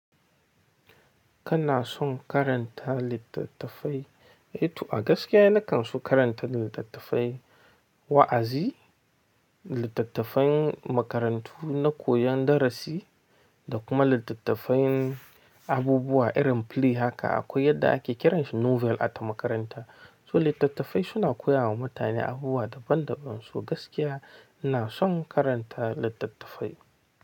Kana son karanta littattafai? Eh to a gaskiya ni kan so karanta littattafai, wa'azi, littattafan makarantu na koyon darasi da kuma littattafan abubuwa irin play haka akwai yadda ake kiran shi novel a ta makaranta. So littattafai suna koya wa mutane abubuwa daban daban. So gaskiya ina son karanta littattafai.